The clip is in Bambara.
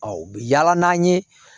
u bɛ yaala n'an ye